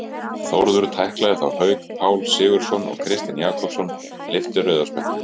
Þórður tæklaði þá Hauk Pál Sigurðsson og Kristinn Jakobsson lyfti rauða spjaldinu.